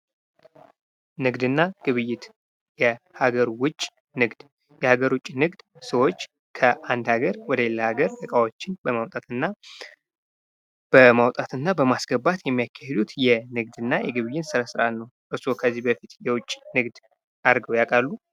ንግድና ግብይት የሀገር ውጭ ንግድ የሀገር ውጭ ንግድ ሰዎች ከአንድ ሀገር ወደሌላ ሀገር እቃዎችን በማምጣትና በማውጣትና በማስገባት የሚያካሂዱት የንግድና የግብይት ስነስርዓት ነው። እርስዎ ከዚህ በፊት የውጭ ንግድ አድርገው ያውቃሉ?